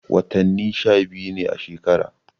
Wattani sha biyu ne a shekara.